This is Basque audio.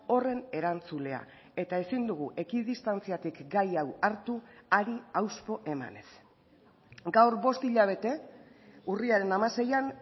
horren erantzulea eta ezin dugu ekidistantziatik gai hau hartu hari hauspo emanez gaur bost hilabete urriaren hamaseian